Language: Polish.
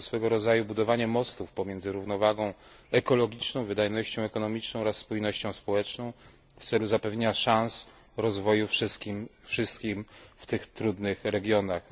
Jest to swego rodzaju budowanie mostów pomiędzy równowagą ekologiczną, wydajnością ekonomiczną oraz spójnością społeczną w celu zapewnienia szans rozwoju wszystkim w tych trudnych regionach.